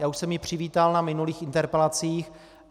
Já už jsem ji přivítal na minulých interpelacích.